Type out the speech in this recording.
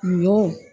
Ɲɔ